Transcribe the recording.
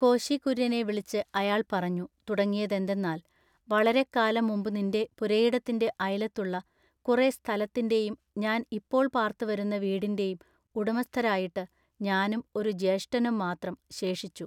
കോശികുര്യനെ വിളിച്ചു അയാൾ പറഞ്ഞു തുടങ്ങിയതെന്തെന്നാൽ വളരെക്കാലം മുമ്പു നിന്റെ പുരയിടത്തിന്റെ അയലത്തുള്ള കുറെ സ്ഥലത്തിന്റെയും ഞാൻ ഇപ്പോൾ പാർത്തുവരുന്ന വീടിന്റെയും ഉടമസ്ഥരായിട്ടു ഞാനും ഒരു ജ്യേഷ്ഠനും മാത്രം ശേഷിച്ചു.